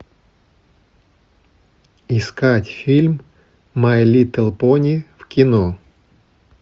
искать фильм май литл пони в кино